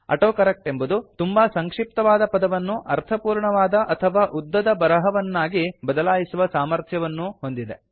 autocorrect ಎಂಬುದು ತುಂಬಾ ಸಂಕ್ಷಿಪ್ತವಾದ ಪದವನ್ನು ಅರ್ಥಪೂರ್ಣವಾದ ಅಥವಾ ಉದ್ದದ ಬರಹವನ್ನಾ ಬದಲಾಯಿಸುವ ಸಾಮರ್ಥ್ಯವನ್ನೂ ಹೊಂದಿದೆ